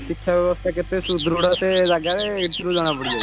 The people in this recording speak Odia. ଶିକ୍ଷା ବ୍ୟବସ୍ତା କେତେ ସୁଦୃଢ ସେ ଜାଗାରେ ଏଥିରୁ ଜଣାପଡିଯାଉଛି